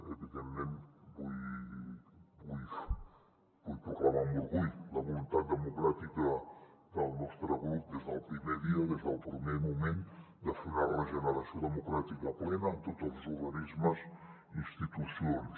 evidentment vull proclamar amb orgull la voluntat democràtica del nostre grup des del primer dia des del primer moment de fer una regeneració democràtica plena en tots els organismes i institucions